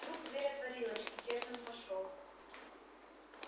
вдруг дверь отворилась и германн вошёл